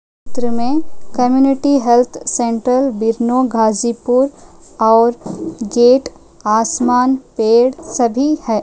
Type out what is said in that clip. चित्र में community health centre Vishnu Ghazipur और गेट आसमान पेड़ सभी है।